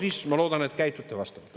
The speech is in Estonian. Siis ma loodan, et käitute vastavalt.